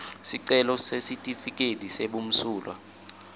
sicelo sesitifiketi sebumsulwa